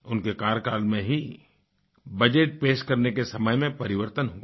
उनके कार्यकाल में ही बजट पेश करने के समय में परिवर्तन हुआ